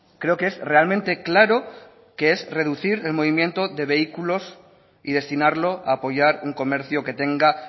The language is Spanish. creo que es realmente claro que es reducir el movimiento de vehículos y destinarlo a apoyar un comercio que tenga